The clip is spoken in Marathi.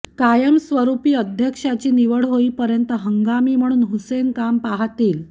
कायमस्वरुपी अध्यक्षाची निवड होईपर्यंत हंगामी म्हणून हुसेन काम पाहतील